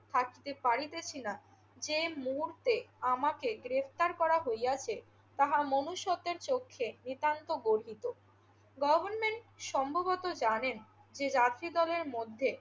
থাকিতে পারিতেছি না যে মুহূর্তে আমাকে গ্রেফতার করা হইয়াছে তাহা মনুষ্ত্যের চক্ষে নিতান্ত গর্হিত। গভর্নমেন্ট সম্ভবত জানেন যে চারটি দলের মধ্যে